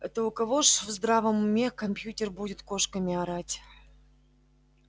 это у кого ж в здравом уме компьютер будет кошками орать